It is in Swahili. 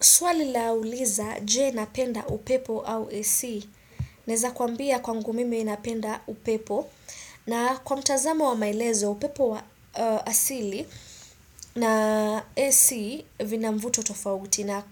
Swali la uliza, je napenda upepo au AC? Naeza kuambia kwangu mimi napenda upepo. Na kwa mtazamo wa maelezo upepo wa asili na AC vina mvuto tofauti na